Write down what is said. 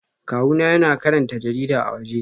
Kawuna yana karanta jarida a waje